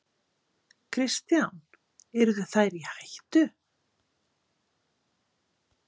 Kristján: Yrðu þær í hættu?